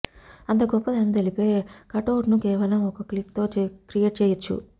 అంత గొప్పదనం తెలిపే కటౌట్ ను కేవలం ఒక్క క్లిక్ తో క్రియేట్ చేయొచ్చు